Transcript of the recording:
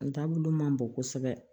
Taabolo ma bon kosɛbɛ